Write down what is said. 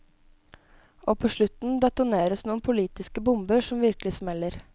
Og på slutten detoneres noen politiske bomber som virkelig smeller.